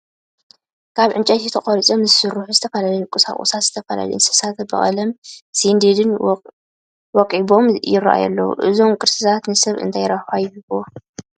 ካብ ዕንጨይቲ ተቐሪፆም ዝተሰርሑ ዝተፈላለዩ ቁሳ ቑሳትን ዝተፋለዩ እንስሳታትን ብቐለምን ስንዲድን ወቂቦም ይርአዩ ኣለዉ፡፡ እዞም ቅርስታት ንሰብ እንታይ ረብሓ ይህቡ?